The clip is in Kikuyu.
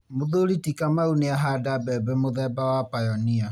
Mũthuri ti Kamau nĩ ahanda mbembe mũthemba wa Pioneer.